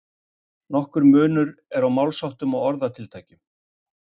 nokkur munur er á málsháttum og orðatiltækjum